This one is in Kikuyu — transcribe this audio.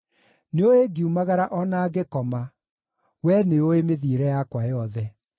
Nĩũũĩ ngiumagara o na ngĩkoma; Wee nĩũũĩ mĩthiĩre yakwa yothe.